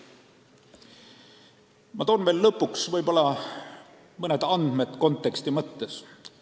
Ma toon lõpuks konteksti mõttes veel mõned andmed.